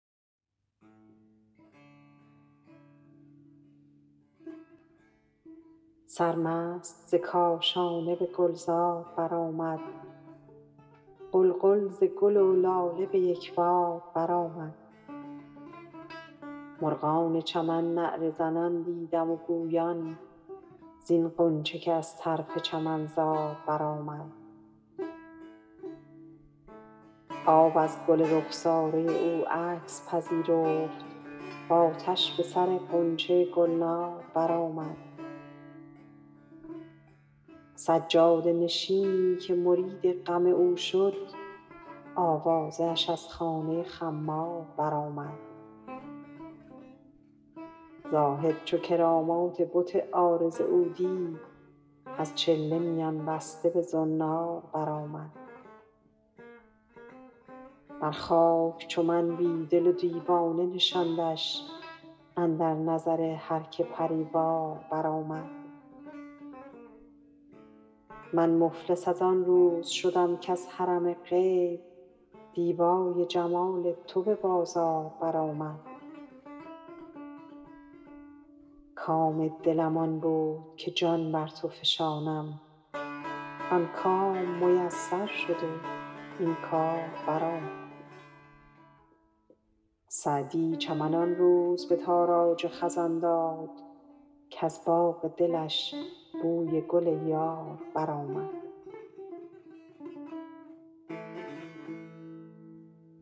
سرمست ز کاشانه به گلزار برآمد غلغل ز گل و لاله به یک بار برآمد مرغان چمن نعره زنان دیدم و گویان زین غنچه که از طرف چمنزار برآمد آب از گل رخساره او عکس پذیرفت و آتش به سر غنچه گلنار برآمد سجاده نشینی که مرید غم او شد آوازه اش از خانه خمار برآمد زاهد چو کرامات بت عارض او دید از چله میان بسته به زنار برآمد بر خاک چو من بی دل و دیوانه نشاندش اندر نظر هر که پری وار برآمد من مفلس از آن روز شدم کز حرم غیب دیبای جمال تو به بازار برآمد کام دلم آن بود که جان بر تو فشانم آن کام میسر شد و این کار برآمد سعدی چمن آن روز به تاراج خزان داد کز باغ دلش بوی گل یار برآمد